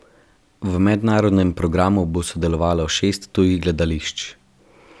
V mednarodnem programu bo sodelovalo šest tujih gledališč.